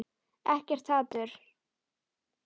Ekkert hatur.